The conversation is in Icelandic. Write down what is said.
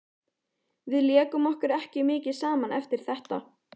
Við lékum okkur ekki mikið saman eftir þetta.